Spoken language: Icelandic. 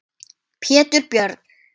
Pétur Björn.